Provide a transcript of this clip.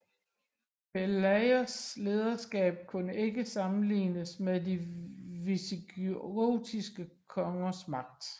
Pelayos lederskab kunne ikke sammenlignes med de visigotiske kongers magt